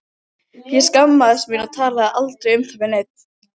Ég skammaðist mín og talaði aldrei um það við neinn.